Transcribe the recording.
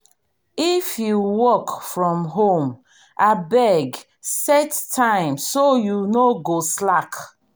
if you work from home abeg set time so you no go slack.